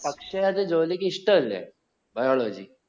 പക്ഷെ അത് ജ്യൂലിക്ക് ഇഷ്ട്ടല്ലേ biology